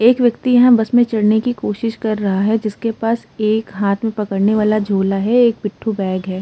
एक व्यक्ति यहाँ बस में चढ़ने की कोशिश कर रहा है जिसके पास एक हाथ में पकड़ने वाला झोला है। एक पिट्ठू बैग है।